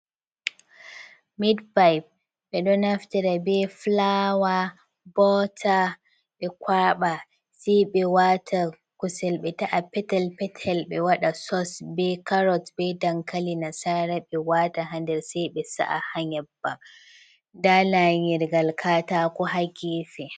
Mid-paaip, ɓe ɗo naftira be filaawa, bota, ɓe kwaaɓa, sei ɓe waata kusel ɓe ta'a petel-petel, ɓe waɗa sos, be carot, be dankali nasaara, ɓe waata ha nder, sei ɓe sa'a ha nyebbam. Ndaa laanyirgal kaataako ha geefe.